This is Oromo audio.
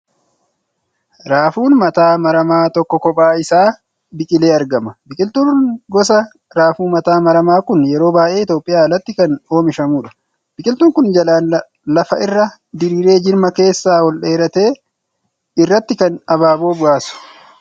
Raafuun mataa maramaa tokko kophaa isaa biqilee argama. Biqiltuun gosa raafuu mataa maramaa kun yeroo baay'ee Itiyoophiyaan alatti kan oomishamuudha. Biqiltuun kun jalaan lafa irra diriiree jirma keessaa ol dheeratte irratti kan abaaboo baasu.